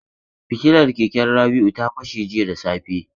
Fitilar keken Rabi'u ta fashe jiya da safe.